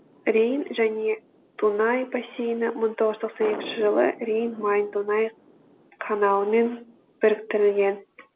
рейн және дунай бассейні мың тоғыз жүз тоқсан екінші жылы рейн майн дунай каналымен біріктірілген